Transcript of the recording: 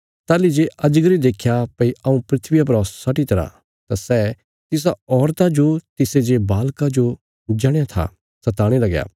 ताहली जे अजगरे देख्या भई हऊँ धरतिया परा सटी तरा तां सै तिसा औरता जो तिसे जे बालका जो जणया था सताणे लगया